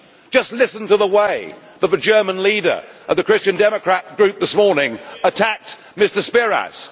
Just listen to the way that the German leader of the Christian Democrat group this morning attacked Mr Tsipras.